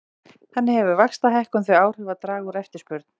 Þannig hefur vaxtahækkun þau áhrif að draga úr eftirspurn.